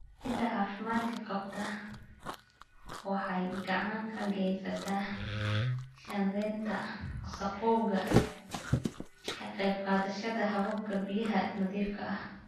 Ciidda caafimaadka qabta waxay gacan ka geysataa shaandhaynta wasakhowga, ka qayb qaadashada hababka biyaha nadiifka ah.